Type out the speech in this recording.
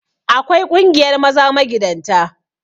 Akwai ƙungiyar maza magidanta